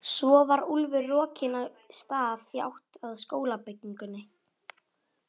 Svo var Úlfur rokinn af stað í átt að skólabyggingunni.